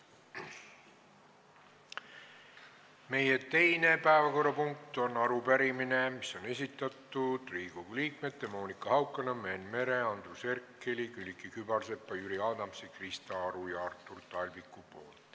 Meie teine päevakorrapunkt on arupärimine, mille on esitanud Riigikogu liikmed Monika Haukanõmm, Enn Meri, Andres Herkel, Külliki Kübarsepp, Jüri Adams, Krista Aru ja Artur Talvik.